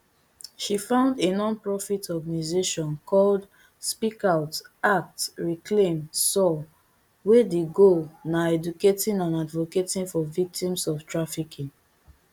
she found a nonprofit organisation called speak out act reclaim soar wey di goal na educating and advocating for victims of trafficking